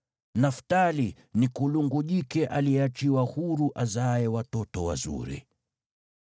“Naftali ni kulungu jike aliyeachiwa huru azaaye watoto wazuri.